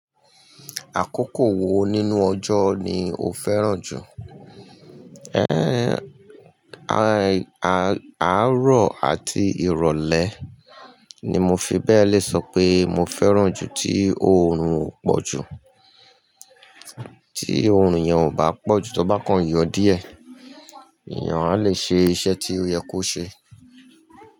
Àkókò wo nínú ọjọ́ ni o fẹ́ràn jù? Àárọ̀ àti ìrọ̀lẹ́ ni mo fi bẹ́ẹ̀ le sọ pé mo fẹ́ràn jù tí òórùn ò pọ̀ jù. Tí òórùn yen ò bá pọ̀ jù, to bá kan yọ díẹ̀, èèyàn a lè ṣe iṣẹ́ tí ó yẹ kó ṣe.